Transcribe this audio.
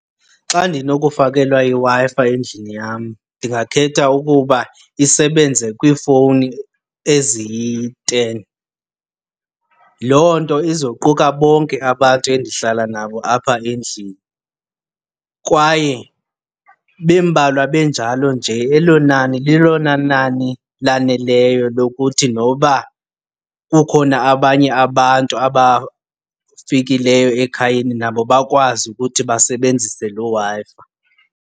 Xa ndinokufakelwa iWi-Fi endlini yam ndingakhetha ukuba isebenze kwiifowuni eziyiteni. Loo nto izoquka bonke abantu endihlala nabo apha endlini. Kwaye bembalwa benjalo nje elo nani lilona nani laneleyo lokuthi noba kukhona abanye abantu abafikileyo ekhayeni nabo bakwazi ukuthi basebenzise loo Wi-Fi.